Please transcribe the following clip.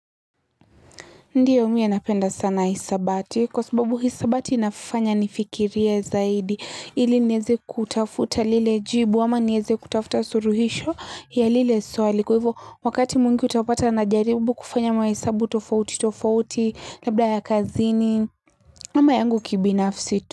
Ndio mi napenda sana hisabati kwa sababu hisabati inafanya nifikiria zaidi ili nieze kutafuta lile jibu ama neze kutafuta suluhisho ya lile swali kwa hivo wakati mwingi utapata na jaribu kufanya mahesabu tofauti tofauti labda ya kazini ama yangu kibinafsi tu.